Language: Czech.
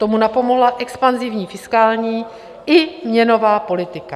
Tomu napomohla expanzivní fiskální i měnová politika.